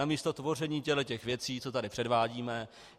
Namísto tvoření těchto věcí, co tady předvádíme.